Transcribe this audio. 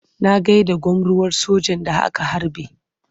Na gai da gwamruwar sojan da aka harbe.